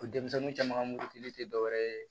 O denmisɛnnin caman ka mugu tɛ dɔwɛrɛ ye